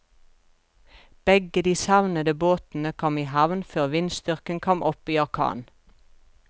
Begge de savnede båtene kom i havn før vindstyrken kom opp i orkan.